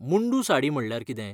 मुंडू साडी म्हणल्यार कितें?